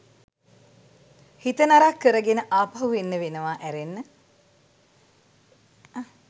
හිත නරක් කරගෙන ආපහු එන්න වෙනවා ඇරෙන්න